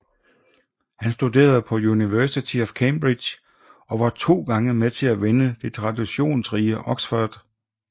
Han studerede på University of Cambridge og var to gange med til at vinde det traditionsrige Oxford vs